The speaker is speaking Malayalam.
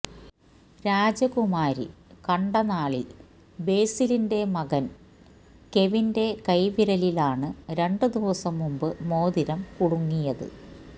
രാജകുമാരി കണ്ടനാലില് ബേസിലിന്റെ മകന് കെവിന്റെ കൈവിരലിലാണ് രണ്ടുദിവസം മുന്പ് മോതിരം കുടുങ്ങിയത്